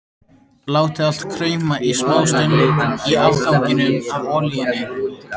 Látið allt krauma í smástund í afganginum af olíunni.